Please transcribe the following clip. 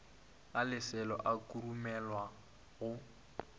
ga leselo a khurumelwa go